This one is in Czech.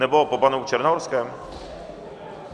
Nebo po panu Černohorském?